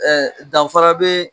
danfara bee